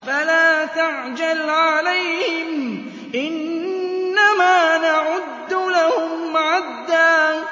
فَلَا تَعْجَلْ عَلَيْهِمْ ۖ إِنَّمَا نَعُدُّ لَهُمْ عَدًّا